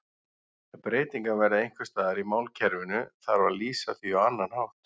Ef breytingar verða einhvers staðar í málkerfinu þarf að lýsa því á annan hátt.